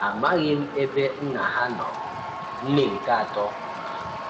Amaghị m ebe nna ha nọ - Nne nke atọ um